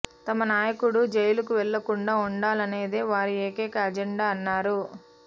తమ నాయకుడు జైలుకు వెళ్లకుండా ఉండాలన్నదే వారి ఏకైక అజెండా అన్నారు